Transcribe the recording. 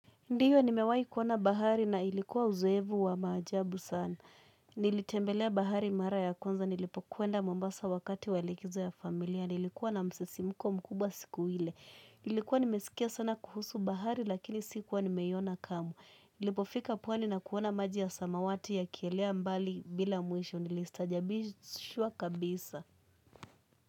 Ndiyo nimewai kuona bahari na ilikuwa uzoevu wa maajabu sana. Nilitembelea bahari mara ya kwanza, nilipokwenda mombasa wakati wa likizo ya familia, nilikuwa na msisimuko mkubwa siku hile. Nilikuwa nimesikia sana kuhusu bahari lakini sikuwa nimeiona kamwe. Nilipofika pwani na kuona maji ya samawati yakielea mbali bila mwisho nilistajabishwa kabisa.